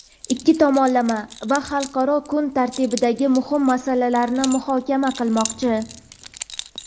ikki tomonlama va xalqaro kun tartibidagi muhim masalalarni muhokama qilmoqchi.